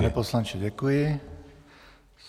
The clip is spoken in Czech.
Pane poslanče, děkuji.